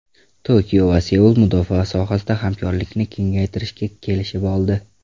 Tokio va Seul mudofaa sohasida hamkorlikni kengaytirishga kelishib oldi.